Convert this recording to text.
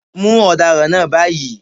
Mú ọ̀daràn náà báyìí.